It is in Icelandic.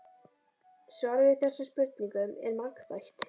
Svarið við þessum spurningum er margþætt.